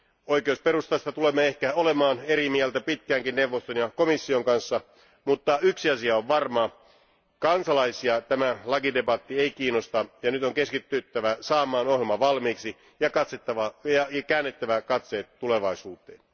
Oikeusperustasta tulemme ehkä olemaan eri mieltä pitkäänkin neuvoston ja komission kanssa, mutta yksi asia on varma kansalaisia tämä lakidebatti ei kiinnosta ja nyt on keskityttävä saamaan ohjelma valmiiksi ja käännettävä katseet tulevaisuuteen.